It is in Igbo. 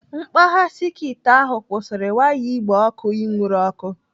Mkpagha sekit ahụ kwụsịrị waya igbe ọkụ inwuru ọkụ.